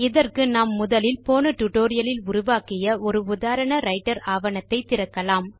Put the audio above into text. இதற்கு நாம் முதலில் போன டுடோரியலில் உருவாக்கிய ஒரு உதாரண ரைட்டர் ஆவணத்தை திறக்கலாம்